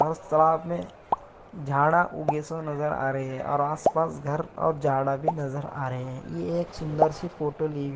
और साथ मे झाडा उगे नज़र रहे हैं और आसपास घर और झाड़ा भी नज़र आ रहे हैं यह एक सुन्दर सी फोटो ली --